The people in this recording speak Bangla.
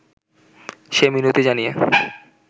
সে মিনতি জানিয়ে